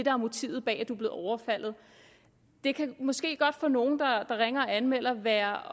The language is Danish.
er motivet bag at du er blevet overfaldet det kan måske godt for nogle der ringer og anmelder være